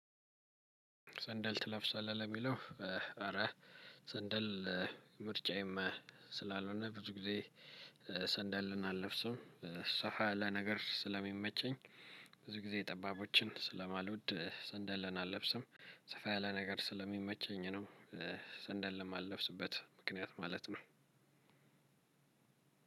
ሰንደል ትለብሳለህ ለሚለው? ኧረ ሰንደል ምርጫዬም ስላልሆነ ብዙ ጊዜ ሰንደልን አለብስም ብዙ ጊዜ ሰፋ ያለ ልብስ ስለሚመቸኝ ብዙ ጊዜ ጠባቦችን ስለማልወድ ሰንደልን አለብስም ሰፋያለ ነገር ስለሚመቸኝ ነው። ሰንደል እማለብስበት ምክንያት ማለት ነው።